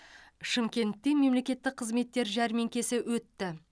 шымкентте мемлекеттік қызметтер жәрмеңкесі өтті